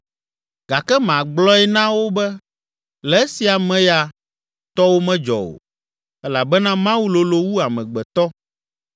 “Gake magblɔe na wo be, le esia me ya, tɔwò medzɔ o, elabena Mawu lolo wu amegbetɔ.